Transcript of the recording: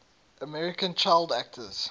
american child actors